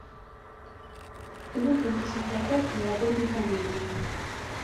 ургант и светлаков в новогодней комедии